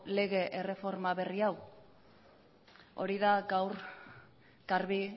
lege erreforma berri hau hori da gaur garbi